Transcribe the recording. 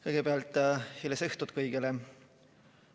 Kõigepealt hilisõhtut kõigele!